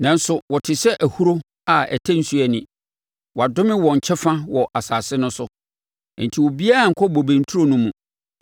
“Nanso wɔte sɛ ahuro a ɛtɛ nsuo ani; wɔadome wɔn kyɛfa wɔ asase no so, enti obiara nnkɔ bobe nturo no mu.